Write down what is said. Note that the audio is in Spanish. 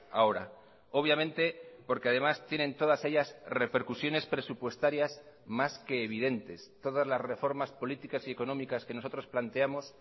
ahora obviamente porque además tienen todas ellas repercusiones presupuestarias más que evidentes todas las reformas políticas y económicas que nosotros planteamos